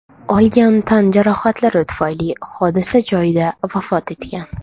olgan tan jarohatlari tufayli hodisa joyida vafot etgan.